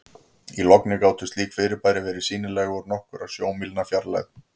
Í logni gátu slík fyrirbæri verið sýnileg úr nokkurra sjómílna fjarlægð.